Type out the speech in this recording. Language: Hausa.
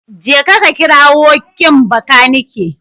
Jeka ka kirawo kin Bakanike.